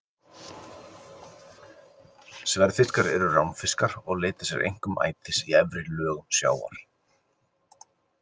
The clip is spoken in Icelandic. Sverðfiskar eru ránfiskar og leita sér einkum ætis í efri lögum sjávar.